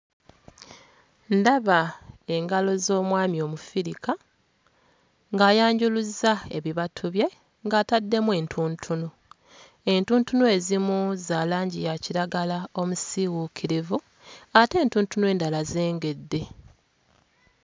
Ndaba engalo z'omwami Omufirika ng'ayanjuluzza ebibatu bye ng'ataddemu entuntunu, entuntunu ezimu za langi ya kiragala omusiiwuukirivu ate entuntunu endala zengedde.